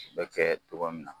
U bɛ kɛ tuma min na